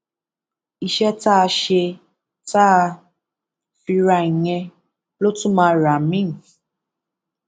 iṣẹ tá a ṣe tá a fi ra ìyẹn ló tún máa rà míín